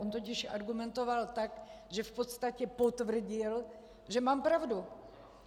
On totiž argumentoval tak, že v podstatě potvrdil, že mám pravdu.